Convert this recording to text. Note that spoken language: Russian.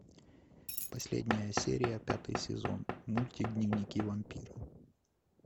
последняя серия пятый сезон мультик дневники вампира